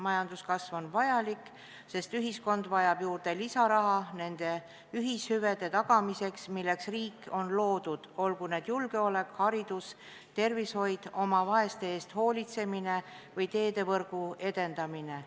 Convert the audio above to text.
Majanduskasv on vajalik, sest ühiskond vajab lisaraha nende ühishüvede tagamiseks, milleks riik on loodud – olgu need julgeolek, haridus, tervishoid, oma vaeste eest hoolitsemine või teedevõrgu edendamine.